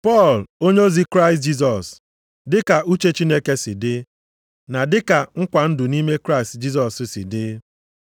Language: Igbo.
Pọl, onyeozi Kraịst Jisọs, dị ka uche Chineke si dị, na dị ka nkwa ndụ nʼime Kraịst Jisọs si dị,